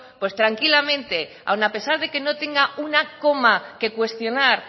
pues tranquilamente aun a pesar de que no tenga una coma que cuestionar